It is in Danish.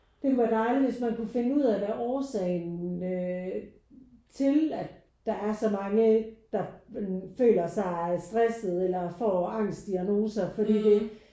Det kunne være dejligt hvis man kunne finde ud af hvad årsagen øh til at der er så mange der føler sig stresset eller får angst diagnoser fordi det